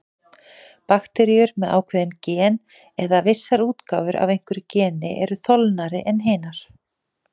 Bakteríur með ákveðin gen, eða vissar útgáfur af einhverju geni, eru þolnari en hinar.